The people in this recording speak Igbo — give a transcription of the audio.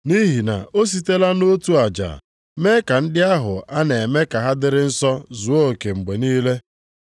Nʼihi na o sitela nʼotu aja mee ka ndị ahụ a na-eme ka ha dịrị nsọ zuo oke mgbe niile.